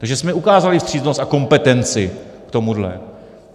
Takže jsme ukázali vstřícnost a kompetenci k tomuhle.